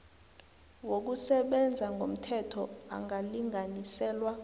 wokusebenza ngomthetho angalinganiselwa